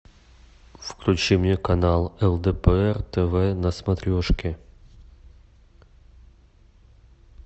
включи мне канал лдпр тв на смотрешке